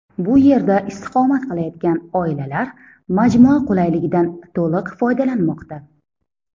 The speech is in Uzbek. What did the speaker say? Bu yerda istiqomat qilayotgan oilalar majmua qulayligidan to‘liq foydalanmoqda.